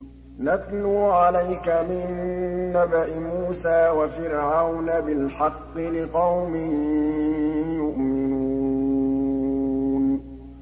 نَتْلُو عَلَيْكَ مِن نَّبَإِ مُوسَىٰ وَفِرْعَوْنَ بِالْحَقِّ لِقَوْمٍ يُؤْمِنُونَ